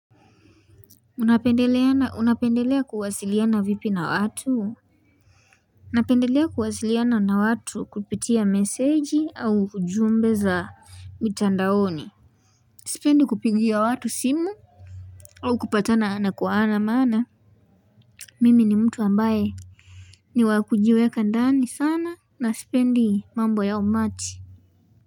Unapendelea kuwasiliana vipi na watu? Napendelea kuwasiliana na watu kupitia meseji au ujumbe za mitandaoni Sipendi kupigia watu simu au kupatana ana kwa ana maana Mimi ni mtu ambaye ni wakujiweka ndani sana na sipendi mambo ya umati.